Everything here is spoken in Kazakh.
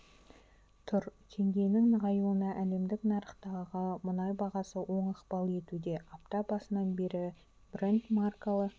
тұр теңгенің нығаюына әлемдік нарықтағы мұнай бағасы оң ықпал етуде апта басынан бері брент маркалы